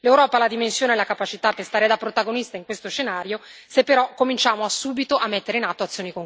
L'Europa ha la dimensione e la capacità per stare da protagonista in questo scenario se, però, cominciamo subito a mettere in atto azioni concrete.